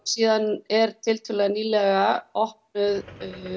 síðan er tiltölulega nýlega opnuð